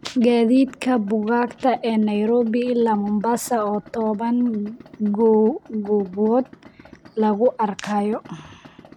gaadiidka buugaagta ee Nairobi ilaa mombasa oo toban goobood lagu arkayo